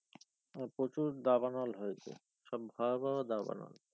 প্রচুর দাবানল হয়েছে সব ভয়াবহ দাবানল।